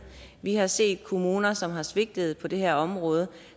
vi har set kommuner som har svigtet på det her område